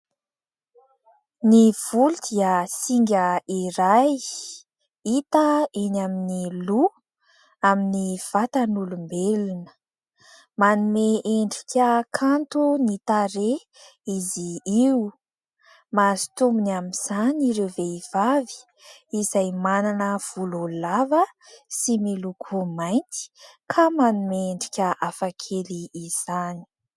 Ny voly dia singa iray hita eny amin'ny loha amin'ny vatan'olombelona, manome endrika kanto ny tarehy izy io. Mahazo tombony amin'izany ireo vehivavy izay manana volo lava sy miloko mainty ka manome endrika hafakely izany.